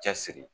Cɛsiri